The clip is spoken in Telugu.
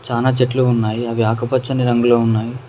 చానా చెట్లు ఉన్నాయి అవి ఆకుపచ్చని రంగులో ఉన్నాయి.